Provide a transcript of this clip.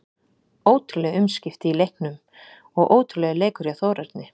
Ótrúleg umskipti í leiknum og ótrúlegur leikur hjá Þórarni.